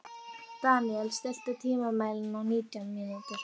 Daniel, stilltu tímamælinn á nítján mínútur.